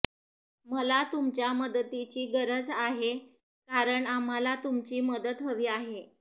मला तुमच्या मदतीची गरज आहे कारण आम्हाला तुमची मदत हवी आहे